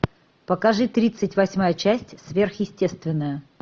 покажи тридцать восьмая часть сверхъестественное